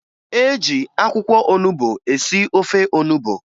E jị akwụkwọ onubo esi ofe onubo